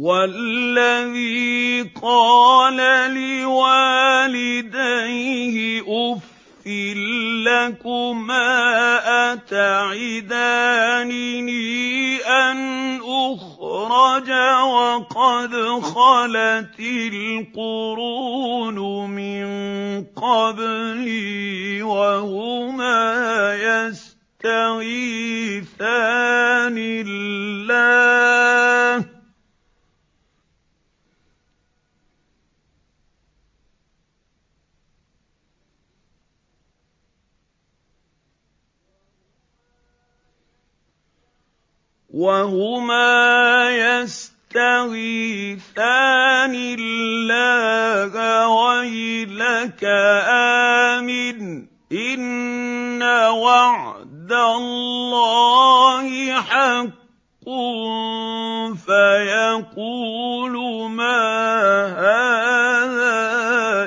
وَالَّذِي قَالَ لِوَالِدَيْهِ أُفٍّ لَّكُمَا أَتَعِدَانِنِي أَنْ أُخْرَجَ وَقَدْ خَلَتِ الْقُرُونُ مِن قَبْلِي وَهُمَا يَسْتَغِيثَانِ اللَّهَ وَيْلَكَ آمِنْ إِنَّ وَعْدَ اللَّهِ حَقٌّ فَيَقُولُ مَا هَٰذَا